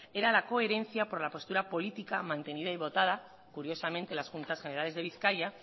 era la coherencia por la postura política mantenida y votada curiosamente las juntas generales de bizkaia